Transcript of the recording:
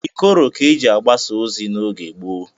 Ikoro ka eji agbasa ozi n'oge gboo